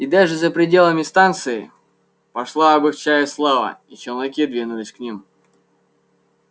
и даже за пределами станции пошла об их чае слава и челноки двинулись к ним